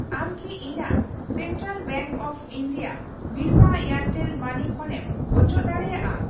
ᱟᱢ ᱠᱤ ᱤᱧᱟ.ᱜ ᱥᱮᱱᱴᱨᱟᱞ ᱵᱮᱝᱠ ᱚᱯᱷ ᱤᱱᱰᱤᱭᱟ ᱵᱷᱤᱥᱟ ᱮᱭᱟᱨᱴᱮᱞ ᱢᱟᱹᱱᱤ ᱠᱷᱚᱱᱮᱢ ᱚᱪᱚᱜ ᱫᱟᱲᱤᱭᱟᱜᱼᱟ ?